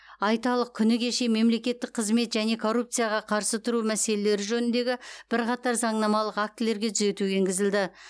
айталық күні кеше мемлекеттік қызмет және коррупцияға қарсы тұру мәселелері жөніндегі бірқатар заңнамалық актілерге түзету енгізілді